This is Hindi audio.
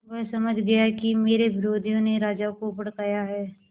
वह समझ गया कि मेरे विरोधियों ने राजा को भड़काया है